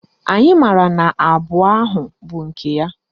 Anyị maara na abụọ ahụ bụ nke ya